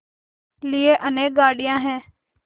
लिए अनेक गाड़ियाँ हैं